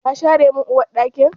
Ka share min Uwar ɗakin?